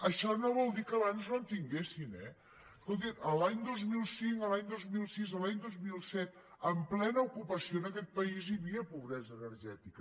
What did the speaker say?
això no vol dir que abans no en tinguessin eh escoltin l’any dos mil cinc l’any dos mil sis l’any dos mil set en plena ocupació en aquest país hi havia pobresa energètica